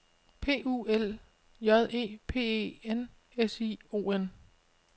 P U L J E P E N S I O N